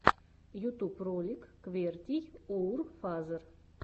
ютуб ролик квертийоурфазер